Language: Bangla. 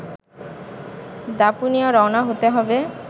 দাপুনিয়া রওনা হতে হবে